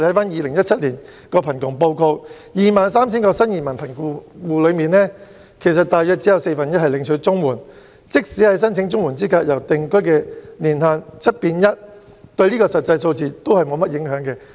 《2017年香港貧窮情況報告》指出，在 23,000 名新移民貧窮戶之中，大約只有四分之一領取綜援，即使申請綜援資格的定居年限由 "7 變 1"， 對實際數字也沒有甚麼影響。